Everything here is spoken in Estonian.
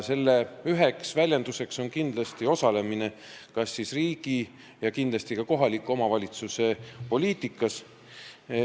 Selle üheks väljenduseks on osalemine riigi ja kindlasti ka kohalikus poliitikas.